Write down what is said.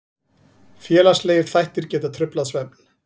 Félagslegir þættir geta truflað svefn.